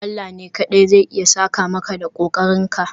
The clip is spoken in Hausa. Allah ne kawai zai iya saka maka da kokarinka